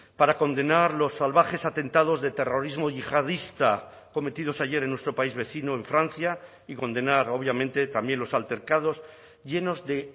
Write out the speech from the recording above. para condenar los salvajes atentados de terrorismo yihadista cometidos ayer en nuestro país vecino en francia y condenar obviamente también los altercados llenos de